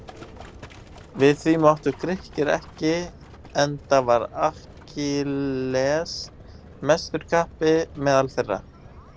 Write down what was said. Við því máttu Grikkir ekki enda var Akkilles mestur kappi meðal þeirra.